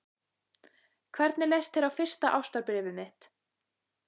Hvernig leist þér á fyrsta ástarbréfið mitt?